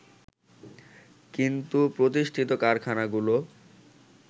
কিন্তু প্রতিষ্ঠিত কারখানাগুলো